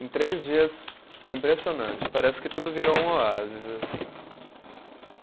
Em três dias, impressionante, parece que tudo virou um oásis, assim.